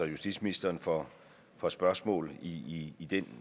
justitsministeren for for spørgsmål i i den